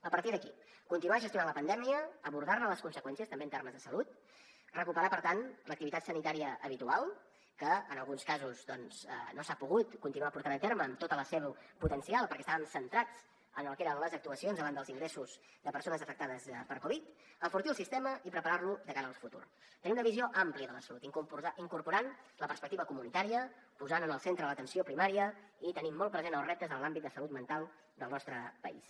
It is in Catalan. a partir d’aquí continuar gestionant la pandèmia abordar ne les conseqüències també en termes de salut recuperar per tant l’activitat sanitària habitual que en alguns casos doncs no s’ha pogut continuar portant a terme amb tot el seu potencial perquè estàvem centrats en el que eren les actuacions davant dels ingressos de persones afectades per covid enfortir el sistema i preparar lo de cara al futur tenir una visió àmplia de la salut incorporant la perspectiva comunitària posant en el centre l’atenció primària i tenint molt presents els reptes en l’àmbit de salut mental del nostre país